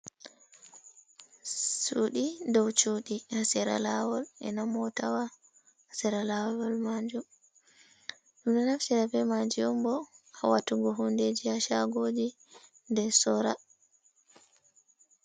Sudi ɗow cudi ha sera lawol e na mota wa ha sira lawol manjum ɗum ɗo naftira ɓe maji on ɓo ha watugo hundeji ha shagoji be sora.